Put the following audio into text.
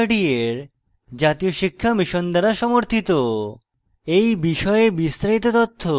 এই বিষয়ে বিস্তারিত তথ্য এই লিঙ্কে প্রাপ্তিসাধ্য